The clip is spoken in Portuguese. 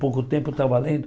Pouco tempo estava lendo.